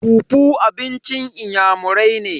fufu abincin inyamurai ne.